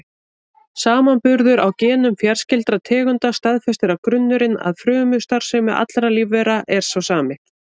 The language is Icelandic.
Samanburður á genum fjarskyldra tegunda staðfestir að grunnurinn að frumustarfsemi allra lífvera er sá sami.